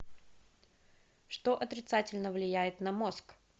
что отрицательно влияет на мозг